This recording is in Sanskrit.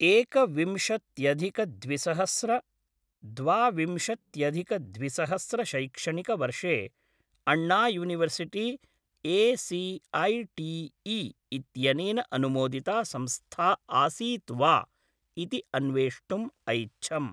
एकविंशत्यधिक द्विसहस्र द्वा विंशत्यधिक द्विसहस्र शैक्षणिकवर्षे अण्णा युनिवर्सिटी ए.सी.ऐ.टी.ई. इत्यनेन अनुमोदिता संस्था आसीत् वा इति अन्वेष्टुम् ऐच्छम्।